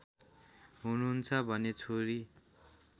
हुनुहुन्छ भने छोरी